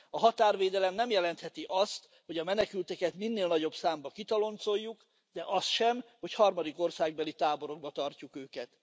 A határvédelem nem jelentheti azt, hogy a menekülteket minél nagyobb számban kitoloncoljuk, de azt sem, hogy harmadik országbeli táborokban tartjuk őket.